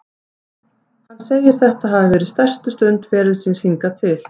Hann segir þetta hafa verið stærstu stund ferils síns hingað til.